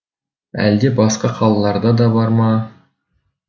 әлде басқа қалаларда да бар ма